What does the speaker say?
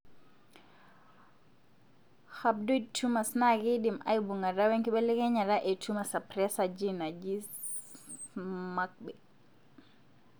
Rhabdoid tumors na kindim aibungata wenkibelekenyata e tumor suppressor gene naaji SMARCBI.